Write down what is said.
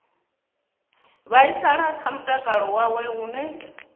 vhaisala kha mutakalo wawe hune